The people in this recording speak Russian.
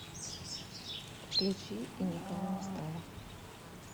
включи и никого не стало